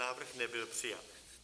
Návrh nebyl přijat.